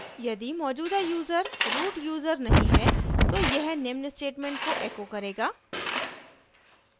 यदि मौजूदा user root user नहीं है तो यह निम्न statement को echo करेगा